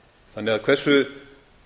þannig að hversu